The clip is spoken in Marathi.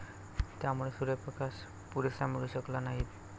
त्यामुळे सूर्यप्रकाश पुरेसा मिळू शकला नाही.